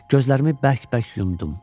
Gözlərimi bərk-bərk yumdum.